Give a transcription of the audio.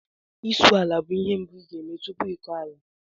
Isụ ala bụ ihe mbụ ị ga-eme tupu ịkọ ala